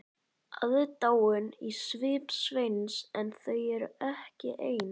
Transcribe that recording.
Aðdáun í svip Sveins en þau voru ekki ein.